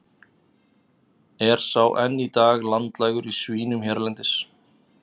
Er sá enn í dag landlægur í svínum hérlendis.